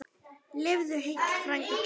Lifðu heill, frændi kær!